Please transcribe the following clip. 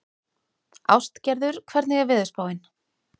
Ástgerður, hvernig er veðurspáin?